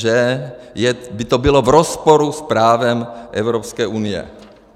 Že by to bylo v rozporu s právem Evropské unie.